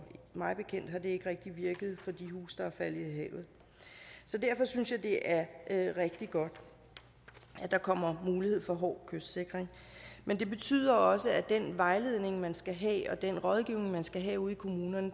mig bekendt har det ikke rigtig virket for de huse der er faldet i havet så derfor synes jeg det er rigtig godt at der kommer mulighed for hård kystsikring men det betyder også at den vejledning man skal have og den rådgivning man skal have ude i kommunerne